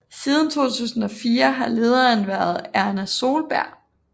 Siden 2004 har lederen været Erna Solberg